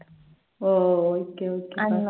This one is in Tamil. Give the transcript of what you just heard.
ஓ, ஓ okay, okay fine.